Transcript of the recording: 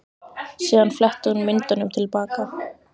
Síðan fletti hún myndunum til baka.